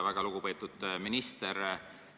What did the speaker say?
Väga lugupeetud minister!